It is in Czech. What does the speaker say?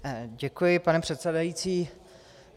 Děkuji, pane předsedající.